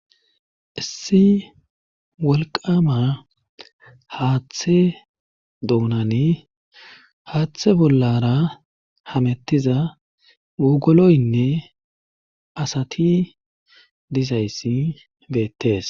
Issi wolqama haaththe doonani haaththe bollara hamettiza wogoloyinne asati diza issi beettees.